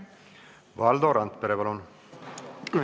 Valdo Randpere, palun!